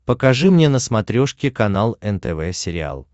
покажи мне на смотрешке канал нтв сериал